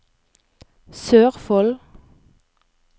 Sørfold